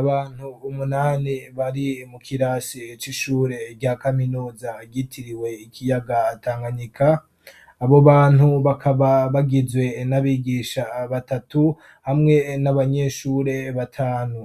Abantu umunani bari mu kirasi c'ishure rya kaminuza ryitiriwe ikiyaga Tanganyika ,abo bantu bakaba bagizwe n'abigisha batatu hamwe n'abanyeshure batanu .